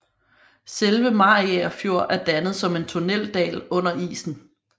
Selve Mariager Fjord er dannet som en tunneldal under isen